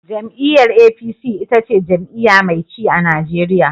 Jam'iyyar APC ita ce jam'iyya mai ci a Najeriya.